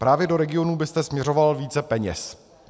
Právě do regionů byste směřoval více peněz?